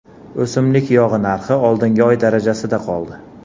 O‘simlik yog‘i narxi oldingi oy darajasida qoldi.